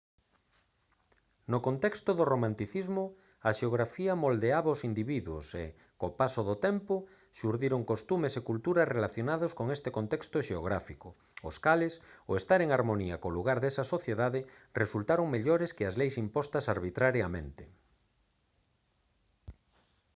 no contexto do romanticismo a xeografía moldeaba aos individuos e co paso do tempo xurdiron costumes e cultura relacionados con ese contexto xeográfico os cales ao estar en harmonía co lugar desa sociedade resultaron mellores que as leis impostas arbitrariamente